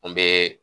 N bɛ